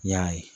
N y'a ye